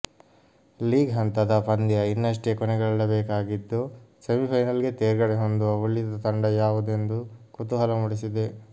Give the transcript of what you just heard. league ಹಂತದ ಪಂದ್ಯ ಇನ್ನಷ್ಟೇ ಕೊನೆಗೊಳ್ಳಬೇಕಾಗಿದ್ದು ಸೆಮಿಫೈನಲ್ಗೆ ತೇರ್ಗಡೆ ಹೊಂದುವ ಉಳಿದ ತಂಡ ಯಾವುದೆಂದು ಕುತೂಹಲ ಮೂಡಿಸಿದೆ